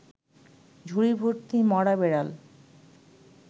ঝুড়িভর্তি মরা বেড়াল